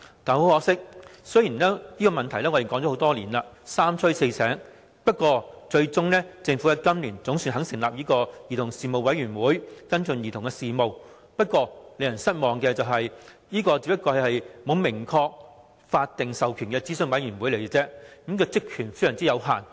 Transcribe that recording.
可惜，雖然問題已討論多年，而在我們三催四請下，政府在今年總算肯成立兒童事務委員會，跟進兒童事務，不過令人失望的是，這只是一個沒有明確法定授權的諮詢委員會而已，職權有限。